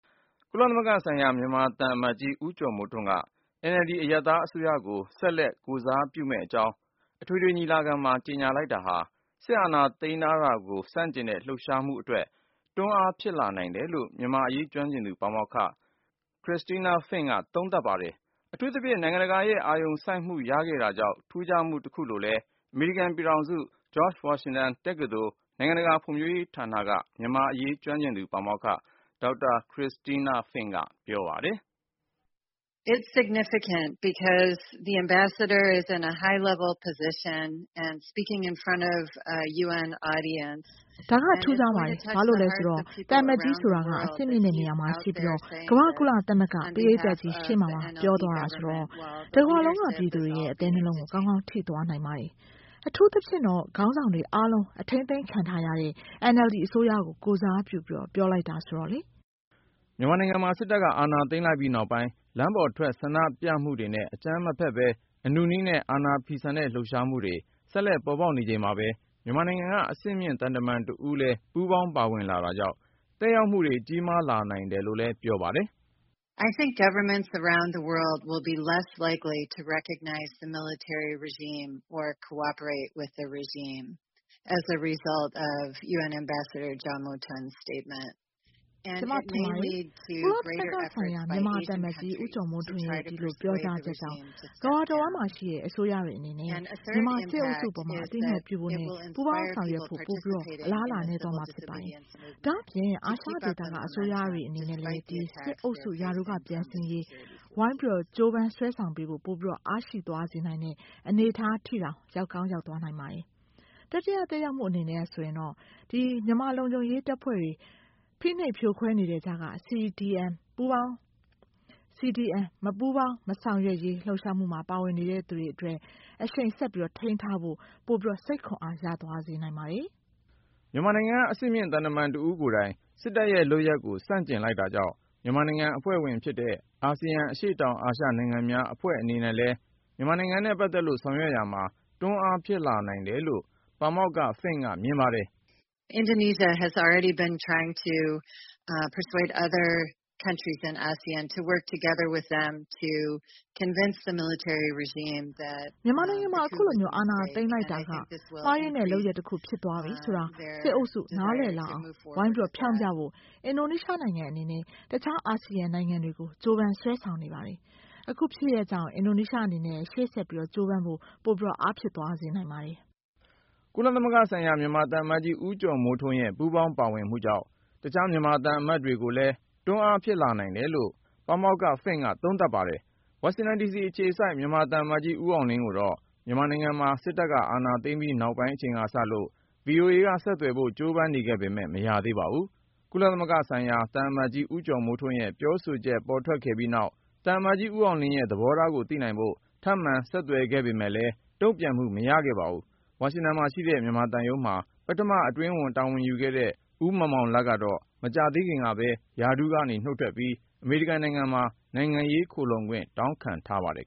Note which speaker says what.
Speaker 1: ကုလသမဂ္ဂဆိုင်ရာ မြန်မာသံအမတ်ကြီး ဦးကျော်မိုးထွန်းက NLD အရပ်သားအစိုးရကို ဆက်လက် ကိုယ်စားပြုမယ့်အကြောင်း အထွေထွေညီလာခံမှာ ကြေညာလိုက်တာဟာ စစ်အာဏာသိမ်းတာကို ဆန့်ကျင်တဲ့ လှုပ်ရှားမှုအတွက် တွန်းအားဖြစ်လာနိုင်တယ်လို့ မြန်မာ့အရေးကျွမ်းကျင်သူ ပါမောက္ခ Christina Fink က သုံးသပ်ပါတယ်။ အထူးသဖြင့် နိုင်ငံတကာရဲ့ အာရုံစိုက်မှုရခဲ့တာကြောင့် ထူးခြားမှုတခုလို့လည်း အမေရိကန် ပြည်ထောင်စု George Washington တက္ကသိုလ် နိုင်ငံတကာဖွံဖြိုးရေးဌာနက မြန်မာ့အရေးကျွမ်းကျင်သူ ပါမောက္ခ ဒေါက်တာ Christina Fink ကို ဉာဏ်ဝင်းအောင်က
Speaker 2: မေးမြန်းရာ သူကအခုလိုစ ကပြောပါတယ်။ “
Speaker 3: ဒါက ထူးခြားပါတယ်။ ဘာလို့လဲဆိုတော့ သံအမတ်ကြီးဆိုတာက အဆင့်မြင့်တဲ့နေရာမှာရှိနေပြီး၊ ကမ္ဘာ့ကုလသမဂ္ဂ ပရိဿတ်ကြီးရှေ.မှာပါ ပြောသွားတာဆိုတော့၊ တကမ္ဘာလုံးက ပြည်သူတွေရဲ့ အသဲနှလုံးကို ကောင်းကောင်းထိသွားနိုင်ပါတယ်။ အထူးသဖြင့်တော့ ခေါင်းဆောင်တွေအားလုံး အထိန်းအသိမ်းခံတားရတဲ့ NLD အစိုးရကို ကိုယ်စားပြုပြီး ပြောလိုက်တာဆိုတော့လေ။
Speaker 1: “ မြန်မာနိုင်ငံမှာ စစ်တပ်က အာဏာသိမ်းလိုက်ပြီးနောက်ပိုင်း လမ်းပေါ်ထွက် ဆန္ဒပြပွဲတွေနဲ့ အကြမ်းမဖက်ပဲ အနုနည်းနဲ့ အာဏာဖီဆန်တဲ့ လှုပ်ရှားမှုတွေ ဆက်လက်ပေါ်ပေါက်နေချိန်မှာပဲ မြန်မာနိုင်ငံကအဆင့်မြင့် သံတမန်တဦးလည်း ပူးပေါင်းပါဝင်လတာကြောင့် သက်ရောက်မှုတွေ ကြီးမားနိုင်တယ်လို့လည်း ပြောပါတယ်။
Speaker 2: “ကျွန်မထင်ပါတယ်၊ ကုလသမဂ္ဂဆို
Speaker 3: င်ရာ မြန်မာသံအမတ်ကြီး ဦးကျော်မိုးထွန်းရဲ့ပြောကြားချက်ကြောင့်၊ ကမ္ဘာတဝှမ်းမှာရှိတဲ့အစိုးရတွေအနေနဲ့ မြန်မာစစ်အုပ်စုအပေါ် အသိအမှတ်ပြုဖို့နဲ့ ပူးပေါင်းဆောင်ရွက်ဖို့၊ ပိုအလားအလာနည်းသွားမှာဖြစ်ပါတယ်။ ဒါ့အပြင် အာရှဒေသကအစိုးရတွေအနေနဲ့လည်း စစ်အုပ်စုရာထူးကပြန်ဆင်းရေး ဝိုင်းကြိုးပမ်းဆွဲဆောင်ပေးဖို့ အားပိုရှိသွားစေနိုင်တဲ့ အနေအထားထိတောင် ရောက်ကောင်းရောက်သွားနိုင်ပါတယ်။ တတိယသက်ရောက်မူအနေနဲ့ မြန်မာလုံခြုံရေးတပ်တွေက ဖိနှိပ်ဖြိုခွဲနေတဲ့ကြားက CDM မပူးပေါင်းမဆောင်ရွက်ရေးလူပ်ရှာမူမှာပါဝင်နေသူတွေအတွက် အရှိန်ဆက်ထိန်းထားဖို့ ပိုစိတ်ခွန်အားရစေနိုင်ပါတယ်
Speaker 1: ။” မြန်မာနိုင်ငံက အဆင့်မြင့်သံတမန်တဦးကိုယ်တိုင် စစ်တပ်ရဲ့ လုပ်ရပ်ကို ဆန့်ကျင်လိုက်တာကြောင့် မြန်မာနိုင်ငံအဖွဲ့ဝင်ဖြစ်တဲ့ အာဆီယံ အရှေ.တောင်အာရှနိုင်ငံများအဖွဲ့ အနေနဲ့လည်း မြန်မာနိုင်ငံနဲ့ ပတ်သက်လို့ ဆောင်ရွက်ရာမှာ တွန်းအားဖြစ်လာနိုင်တယ်လို့ ပါမောက္ခ Fink ကမြင်ပါတယ်။ “ မြန်မာနိုင်
Speaker 2: ငံမှာ
Speaker 3: အခုလိုအာဏာသိမ်းလိုက်တာက မှားယွင်းတဲ့လုပ်ရပ်တစ်ခုဖြစ်သွားပြီဆိုတာကို စစ်အုပ်စုနားလည်လာအောင် ဝိုင်းဖျောင်းဖျဖို့ အင်ဒိုနီးရှားနိုင်ငံအနေနဲ့ အခြားအာဆီယံနိုင်ငံတွေကို ကြိုးပမ်းဆွဲဆောင်နေပါတယ်။ အခုဖြစ်ရပ်ကြောင့် အင်ဒိုနီးရှားအနေနဲ့ ရှေ.ဆက်ကြိုးပမ်းဖို့ ပိုအားဖြစ်သွားစေနိုင်ပါတယ်။”
Speaker 1: ကုလသမဂ္ဂဆိုင်ရာ မြန်မာသံအမတ်ကြီး ဦးကျော်မိုးထွန်းရဲ့ ပူးပေါင်းပါဝင်မှုကြောင့် တခြားမြန်မာသံတမန်တွေကိုလည်း တွန်းအားဖြစ်လာနိုင်တယ်လို့ ပါမောက္ခ Fink က သုံးသပ်ပါတယ်။ ဝါရှင်တန်ဒီစီအခြေစိုက် မြန်မာသံအမတ်ကြီး ဦးအောင်လင်းကိုတော့ မြန်မာနိုင်ငံမှာ စစ်တပ်က အာဏာသိမ်းပြီး နောက်ပိုင်းအချိန်ကစလို့ ဗွီအိုအေက ဆက်သွယ်ဖို့ ကြိုးပမ်းနေပေမဲ့ မရသေးပါဘူး။ ကုလသမဂ္ဂဆိုင်ရာ သံအမတ်ကြီး ဦးကျော်မိုးထွန်းရဲ့ ပြောဆိုချက် ထွက်ပေါ်ခဲ့ပြီးနောက် သံအမတ်ကြီး ဦးအောင်လင်းရဲ့ သဘောထားကို သိနိုင်ဖို့ ထပ်မံ ဆက်သွယ်ခဲ့ပေမဲ့လည်း တုံ့ပြန်မှု မရခဲ့ပါဘူး။ ဝါရှင်တန်မှာရှိတဲ့ မြန်မာသံရုံးမှာ ပထမအတွင်းဝန် တာဝန်ယူခဲ့တဲ့ ဦးမောင်မောင်လတ်ကတော့ မကြာသေးခင်ကပဲ ရာထူးကနေ နုတ်ထွက်ပြီး အမေရိကန်နိုင်ငံမှာ နိုင်ငံရေးခိုလှုံခွင့် တောင်းခံထားပါတယ်